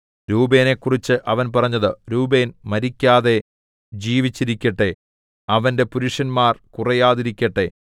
രൂബേനെക്കുറിച്ച് അവൻ പറഞ്ഞത് രൂബേൻ മരിക്കാതെ ജീവിച്ചിരിക്കട്ടെ അവന്റെ പുരുഷന്മാർ കുറയാതിരിക്കട്ടെ